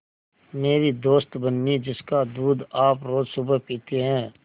मेरी दोस्त बिन्नी जिसका दूध आप रोज़ सुबह पीते हैं